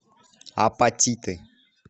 апатиты